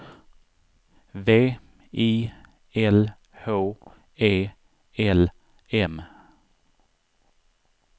V I L H E L M